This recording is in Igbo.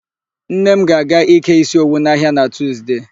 Nne m ga-aga ịke ísí owu n'ahịa na Tuzde.